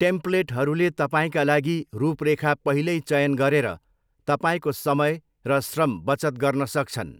टेम्प्लेटहरूले तपाईँका लागि रूपरेखा पहिल्यै चयन गरेर तपाईँको समय र श्रम बचत गर्न सक्छन्।